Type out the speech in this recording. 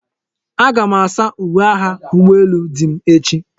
Aga m asa uwe agha ụgbọ elu dim echi.